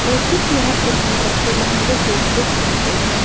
औरतों की यहां पर हम ड्रेसे लहंगे सूट देख सकते हैं।